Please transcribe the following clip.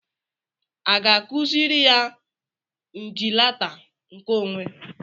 A ga-akụziri ya njilata nke onwe?